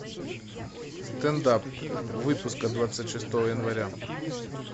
стендап выпуск от двадцать шестого января